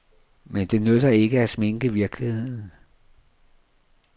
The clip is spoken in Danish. Men det nytter ikke at sminke virkeligheden.